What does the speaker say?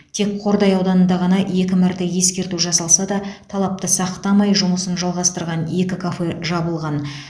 тек қордай ауданында ғана екі мәрте ескерту жасалса да талапты сақтамай жұмысын жалғастырған екі кафе жабылған